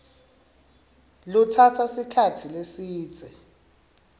lutsatsa sikhatsi lesidze